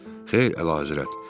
Xeyr, Əlahəzrət.